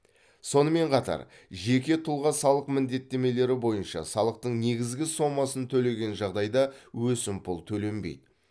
сонымен қатар жеке тұлға салық міндеттемелері бойынша салықтың негізгі сомасын төлеген жағдайда өсімпұл төленбейді